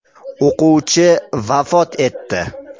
O‘quvchi vafot etdi.